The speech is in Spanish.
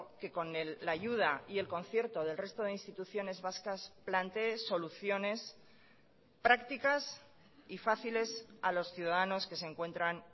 que con la ayuda y el concierto del resto de instituciones vascas planteé soluciones prácticas y fáciles a los ciudadanos que se encuentran